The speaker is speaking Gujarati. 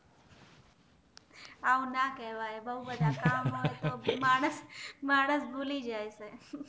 આવું ના કેવાય અને બોવ બધા કામ હોય હા હા હા માણશ માણશ ભૂલી જાય